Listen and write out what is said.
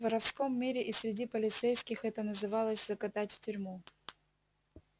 в воровском мире и среди полицейских это называлось закатать в тюрьму